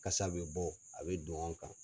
Kasa bɛ bɔ a bɛ don an kan.